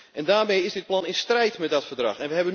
En daarmee is dit plan in strijd met dat verdrag.